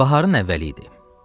Baharın əvvəli idi.